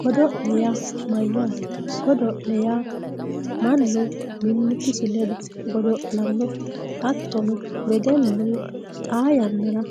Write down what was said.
godolle yaa mayatte godolle yaa manu mimitisi ledo godolano hatono wedelu xaa yanara